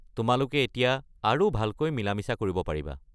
তোমালোকে এতিয়া আৰু ভালকৈ মিলা-মিচা কৰিব পাৰিবা।